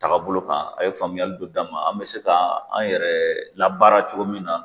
Tagabolo kan a ye faamuyali dɔ d'an ma an mɛ se ka an yɛrɛ labaara cogo min na.